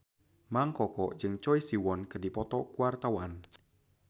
Mang Koko jeung Choi Siwon keur dipoto ku wartawan